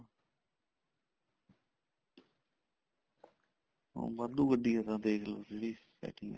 ਵਾਧੂ ਗੱਡੀਆਂ ਦੇਖਲੋ ਜਿਹੜੀ